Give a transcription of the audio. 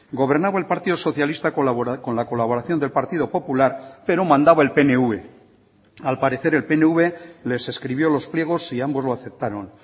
gobernaba el partido socialista con la colaboración del partido popular pero mandaba el pnv al parecer el pnv les escribió los pliegos y ambos lo aceptaron